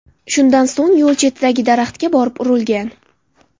Shundan so‘ng yo‘l chetidagi daraxtga borib urilgan.